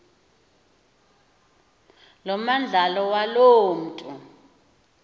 lomandlalo waloo mntu